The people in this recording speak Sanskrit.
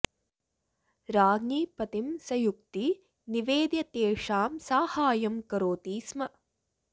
राज्ञी पतिं सयुक्ति निवेद्य तेषां साहाय्यं करोति स्म